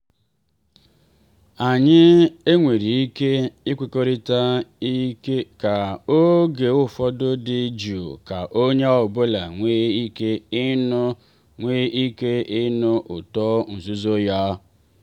anyi e nwere ike ikwekọrịta ka oge ụfọdụ dị jụụ ka onye ọbụla nwee ike ịnụ nwee ike ịnụ ụtọ nzuzo ya.